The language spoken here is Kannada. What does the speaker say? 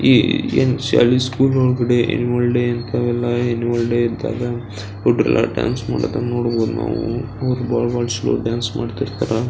ಈ ಏನ್ ಶಾಲಿ ಸ್ಕೂಲ್ ಒಳಗಡೆ ಅನುಯಲ್ ಡೇ ಇಂಥವೆಲ್ಲ ಅನುಯಲ್ ಡೇ ಇದ್ದಾಗ ಡಾನ್ಸ್ ಮಾಡೋದನ್ನ ನೋಡಬಹುದು ನಾವು ಬಹಳ ಬಹಳ ಡಾನ್ಸ್ ಮಾಡ್ತಾ ಇರ್ತಾರ.